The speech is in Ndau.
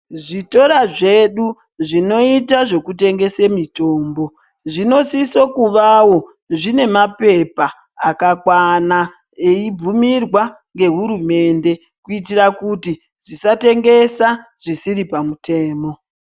Zvitoro zvedu zvinoite zvekutengese mitombo, zvinosiso kuvawo zvine maphepha akakwana eibvumirwa ngehurumende ,kuitira kuti zvisatengesa zvisiri pamutemo.